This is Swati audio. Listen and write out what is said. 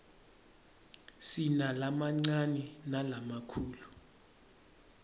sinalamancane nalamakhulu